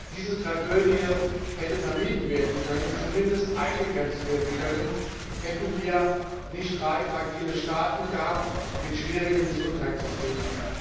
Diese Tragödie hätte vermieden oder zumindest eingegrenzt werden können, hätten wir nicht drei fragile Staaten gehabt mit schwierigen Gesundheitssystemen.